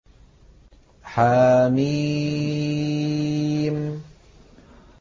حم